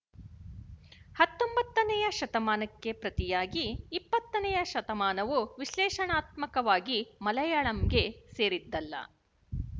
ಹತ್ತೊಂಬತ್ತನೆಯ ಶತಮಾನಕ್ಕೆ ಪ್ರತಿಯಾಗಿ ಇಪ್ಪತ್ತನೆಯ ಶತಮಾನವು ವಿಶಲೇಶಣಾತ್ಮಕವಾಗಿ ಮಲಯಾಳಂಗೆ ಸೇರಿದ್ದಲ್ಲ